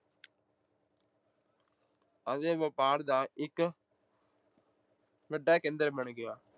ਅਤੇ ਵਪਾਰ ਦਾ ਇੱਕ ਵੱਡਾ ਕੇਂਦਰ ਬਣ ਗਿਆ।